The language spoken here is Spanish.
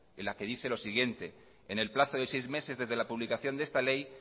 en la que dice lo siguiente en el plazo de seis meses de la publicación de esta ley